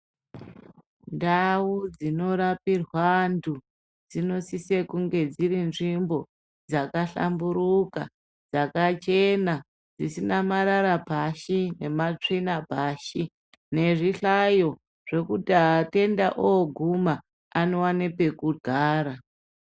Ndau dzinorapirwe antu dzinosise kunge dziri nzvimbo dzaka hkamburika dzakachena ,dzisina marara pashi nematavina pashi nezvihkayo zvekuti vatenda volume vanowana pekugara.